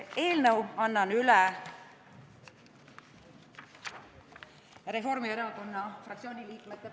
Eelnõu annan üle Reformierakonna fraktsiooni liikmete nimel.